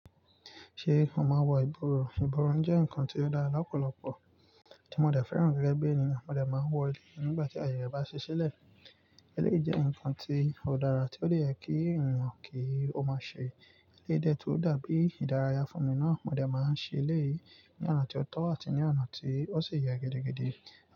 Ṣé o máa wọ ìborùn? Ìborùn jẹ́ ǹkan tí ó dára lọ́pọ̀lọpọ̀ tí mo dẹ̀ fẹ́ràn gẹ́gẹ́ bí ènìyàn. Mo dẹ̀ máa n wọ̀ eleyii nígbà tí aaye re bá ṣí ṣílẹ̀. Eleyii jẹ́ ǹkan tí ó dára tí ó de yè kí ènìyàn kí ó máa ṣe. Eleyii de tun dàbií ìdárayá fún mi náà. Mo dẹ̀ máa ń ṣe eléyìí ní ọ̀nà tí ó tọ́ àti ní ọ̀nà tí ó sì yẹ gidigidi.